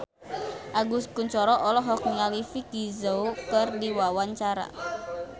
Agus Kuncoro olohok ningali Vicki Zao keur diwawancara